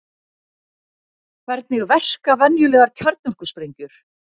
Hvernig verka venjulegar kjarnorkusprengjur?